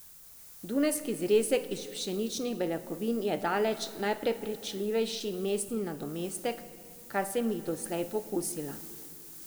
Dunajski zrezek iz pšeničnih beljakovin je daleč najprepričljivejši mesni nadomestek, kar sem jih doslej pokusila.